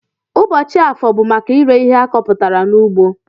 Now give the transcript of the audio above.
Ụbọchi afọọ bu maka ire ihe akọputara na ugbo.